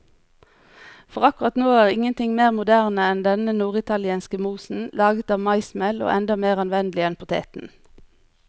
For akkurat nå er ingenting mer moderne enn denne norditalienske mosen, laget av maismel og enda mer anvendelig enn poteten.